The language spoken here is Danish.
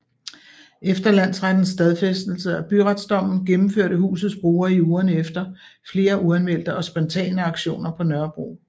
Efter landsrettens stadfæstelse af byretsdommen gennemførte husets brugere i ugerne efter flere uanmeldte og spontane aktioner på Nørrebro